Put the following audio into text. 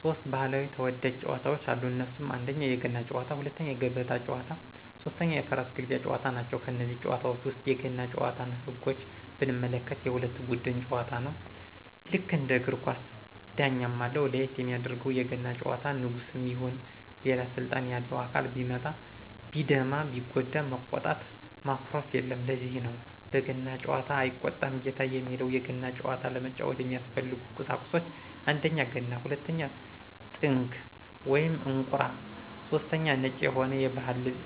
ሦስት ባህላዊ ተወዳጅ ጨዋታወች አሉ እነሱም 1: የገና ጨዋታ 2: የገበታ ጨዋታ 3: የፈረስ ግልቢያ ጨዋታ ናቸው። ከነዚህ ጨዋታወች ውስጥ የገና ጭዋታን ህጎች ብንመለከት የሁለት ቡድን ጨዋታ ነው ልክ እንደ እግር ኳስ ዳኛም አለው ለየት የሚያደርገው የገና ጨዋታ ንጉስም ይሁን ሌላ ስልጣን ያለው አካል ቢመታ ቢደማ ቢጎዳ መቆጣት ማኩረፍየለም ለዚህ ነው በገና ጨዋታ አይቆጣም ጌታ የሚባለው የገና ጨዋታ ለመጫወት የሚያስፈልጉ ቁሳቁሶች 1: ገና 2: ጥንግ /እንቁራ / 3: ነጭ የሆነ የባህል ልብስ